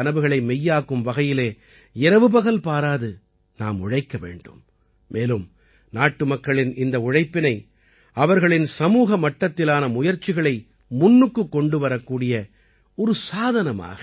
அவர்களின் கனவுகளை மெய்யாக்கும் வகையிலே இரவுபகல் பாராது நாம் உழைக்க வேண்டும் மேலும் நாட்டுமக்களின் இந்த உழைப்பினை அவர்களின் சமூக மட்டத்திலான முயற்சிகளை முன்னுக்குக் கொண்டு வரக்கூடிய ஒரு சாதனமாக